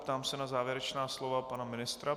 Ptám se na závěrečná slova pana ministra.